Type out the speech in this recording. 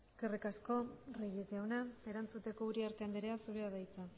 eskerrik asko reyes jauna erantzuteko uriarte andrea zurea da hitza